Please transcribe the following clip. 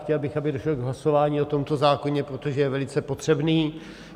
Chtěl bych, aby došlo k hlasování o tomto zákoně, protože je velice potřebný.